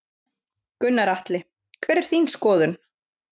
Gunnar Atli: Hver er þín skoðun?